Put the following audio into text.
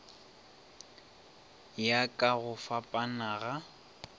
ya ka go fapana ga